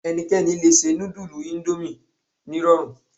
Ẹnikẹ́ni lè se nudulu Ondomie nírọ̀rùn